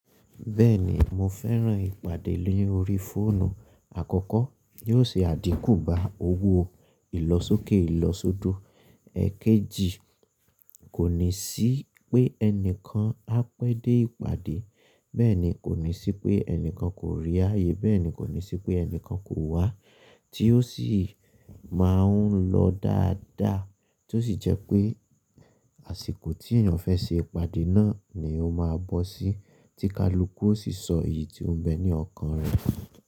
Bẹ́ẹ̀ni mo fẹ́ràn ìpàdé lórí fóònù. À kọ́ kọ́ yóò ṣe àdín kù bá owó ìlọsókè ìlọsódò, èkejì kò ní sí pé ẹnìkan á pẹ́ dé ìpàdé, bẹ́ẹ̀ni kò ní sí pé ẹnìkan kò rí ààyè, bẹ́ẹ̀ni kò ní sí pé ẹnìkan kò wá tí ó sì máa ń lọ dáadáa tí ó sì jẹ́ pé àsìkò tí èèyàn fẹ́ ṣe ìpàdé náà ni ó máa bọ́ sí. Tíkalúkú ó sì sọ èyí tí ó ń bẹ ní ọkàn rẹ̀.